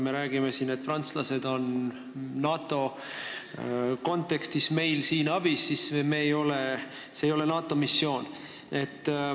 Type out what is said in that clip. Me räägime siin, et prantslased on NATO kontekstis Eestis abiks, aga see ei ole NATO missioon.